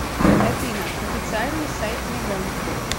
афина официальный сайт нягань